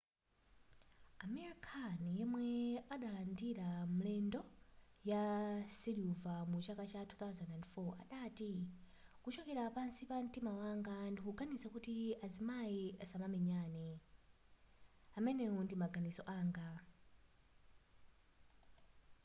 amir khan yemwe adalandira mendulo ya siliva mu chaka cha 2004 adati kuchokera pansi pa mtima wanga ndikuganiza kuti azimayi asamamenyane amenewo ndi maganizo anga